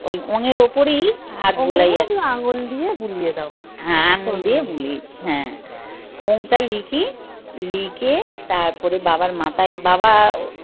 ওই ওম এর উপরেই হাত হ্যাঁ আঙ্গুল দিয়ে বুলিয়ে দিই হ্যাঁ। ওম টা লিখি লিখে তারপরে বাবার মাথায় বাবা